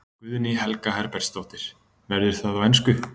Guðný Helga Herbertsdóttir: Verður það á ensku?